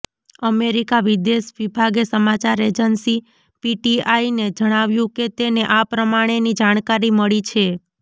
America વિદેશ વિભાગે સમાચાર એજન્સી પીટીઆઈને જણાવ્યું કે તેને આ પ્રમાણેની જાણકારી મળી છે